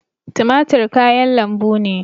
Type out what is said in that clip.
Tumatir kayan lambu ne